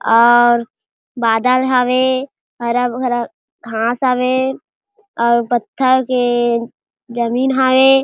और बादल हवे हरा - भरा घास हवे और पत्थर के जमीन हवे।